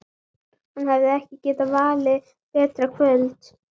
Hann hefði ekki getað valið betra kvöld.